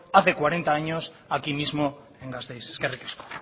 hace cuarenta años aquí mismo en gasteiz eskerrik asko